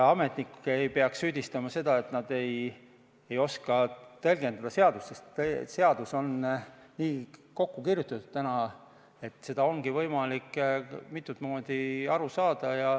Ametnik ei peaks süüdistama seda, et nad ei oska seadust tõlgendada, sest seadus on nii kokku kirjutatud, et sellest ongi võimalik mitut moodi aru saada.